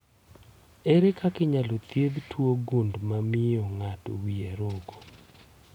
Ere kaka inyalo thiedh tuwo gund mamio ng'ato wie roko